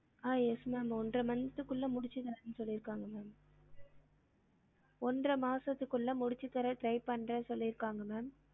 ஆஹ் yes ma'am ஒன்ற month குள்ள முடிச்சி தாரன்னு சொல்லிருகாங்க ma'am ஒன்ற மாசத்துக்குள்ள முடிச்சு தர try பண்றேன்னு சொல்லிருக்காங்க ma'am